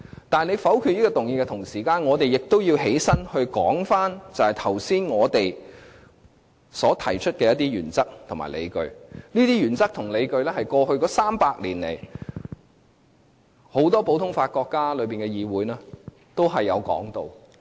但是，他們否決這項議案的同時，我們亦要站起來發言，說明剛才我們所提出的一些原則及理據，而這些原則及理據，是過去300年來很多實行普通法國家的議會都有提到的。